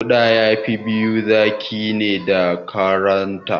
Kuda yafi biyo zaki ne da Ƙazanta